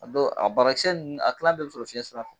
A don a banakisɛ nunnu a kila bɛɛ bi sɔrɔ fiɲɛ sira fɛ.